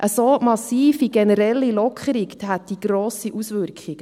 Eine so massive Lockerung hätte grosse Auswirkungen.